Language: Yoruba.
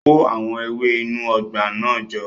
Kó àwọn ewé inú ọgbà náà jọ